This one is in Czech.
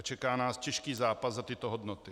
A čeká nás těžký zápas za tyto hodnoty.